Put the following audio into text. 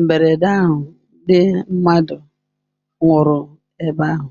mberede ahụ, ndị mmadụ nwụrụ ebe ahụ.